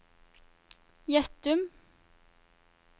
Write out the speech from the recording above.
Gjettum